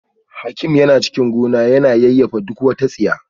Hakim yana cikin gona yana yayyafa duk wata tsiya